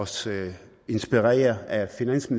sted er en grænse